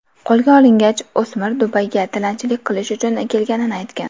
Qo‘lga olingach, o‘smir Dubayga tilanchilik qilish uchun kelganini aytgan.